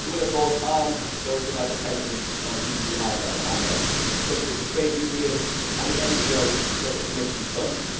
It will of course harm those that are dependent on EU handouts, such as the trade unions and the NGOs that the Commission funds.